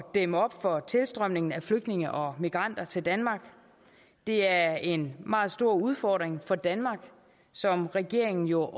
dæmme op for tilstrømningen af flygtninge og migranter til danmark det er en meget stor udfordring for danmark som regeringen jo